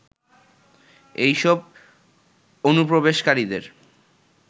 এইসব অনুপ্রবেশকারীদের